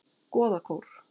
Goðakór